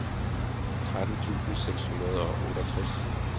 tretten tusind seks hundrede og otteogtres